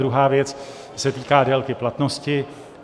Druhá věc se týká délky platnosti.